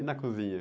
E na cozinha?